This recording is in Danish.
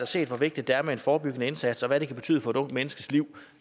set hvor vigtigt det er med en forebyggende indsats og hvad det kan betyde for et ungt menneskes liv